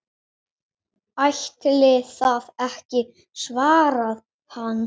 Ætli það ekki svarar hann.